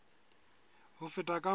ho feta ka moo ho